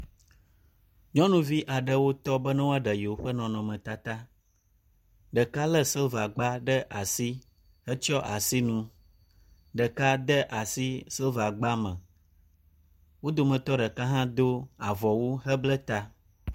Nyɔnuvi aɖewo tɔ be ne woaɖe yewo ƒe nɔnɔmetata. Ɖeka lé silva gba ɖe asi hetsyɔ asi nu, ɖeka de asi silva gba me. Wo dometɔ ɖeka hã do avɔwu heble ta.